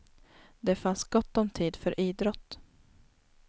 Det fanns gott om tid för idrott.